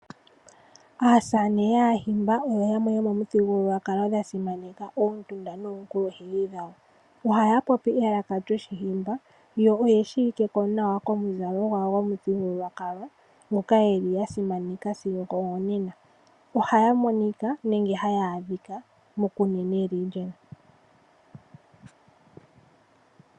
Aasamane yAahimba oyo yamwe yo mwaa mboka ya simaneka omuthigululwakalo noonkulunkedhi dhawo. Ohaya popi elaka lyOshihimba, yo oye shiwike nawa komuzalo gwawo gomuthigululwakalo ngoka ya simanekwa sigo onena. Ohaya monika nenge haya adhika koshitopolwahogololo shaKunene.